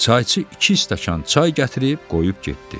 Çayçı iki stəkan çay gətirib qoyub getdi.